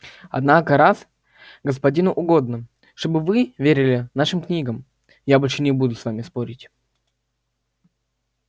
однако раз господину угодно чтобы вы верили нашим книгам я больше не буду с вами спорить